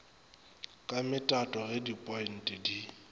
ka metato ge dipointe di